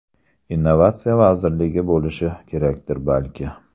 Innovatsiya vazirligi bo‘lishi kerakdir balki.